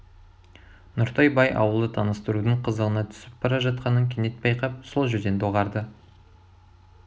нұртай бай ауылды таныстырудың қызығына түсіп бара жатқанын кенет байқап сол жерден доғарды